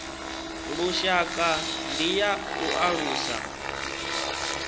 lushaka ndi ya u alusa